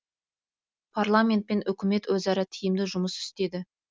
парламент пен үкімет өзара тиімді жұмыс істеді